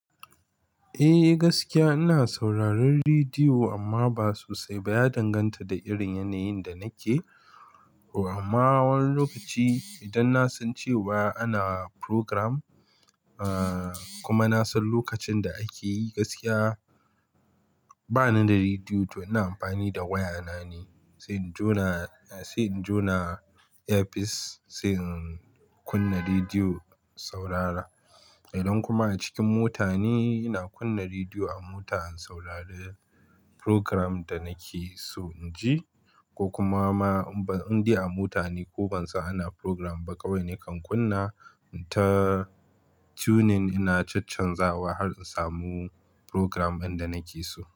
Eh gaskiya ina sauraron rediyo amma ba sosai ba, ya danganta da irin yanayin da nake. Amma wani lokaci idan na san cewa ana program kuma na san lokacin da ake yi, gaskiya bana da rediyo to ina amfani da wayana ne sai in jona headphones sai in kunna rediyo saurara. Idan kuma a cikin mota ne, ina kunna rediyo a mota in saurari program da nake so in ji ko kuma ma in ba in je a mota ne ko ban san ana program ba kawai nakan kunna ta tuning ina chanchanzawa har in samu program ɗin da nake so.